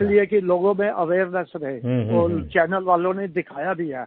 channels वालों ने दिखाया भी है इसलिए कि लोगों में अवेयरनेस रहे और